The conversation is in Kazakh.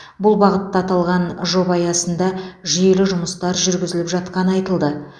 бұл бағытта аталған жоба аясында жүйелі жұмыстар жүргізіліп жатқаны айтылды